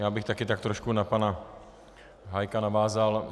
Já bych taky tak trošku na pana Hájka navázal.